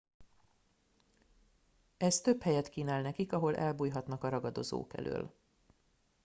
ez több helyet kínál nekik ahol elbújhatnak a ragadozók elől